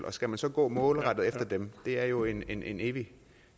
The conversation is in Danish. og skal man så gå målrettet efter dem det er jo en en evig